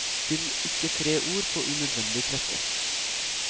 Spill ikke tre ord på unødvendig trette.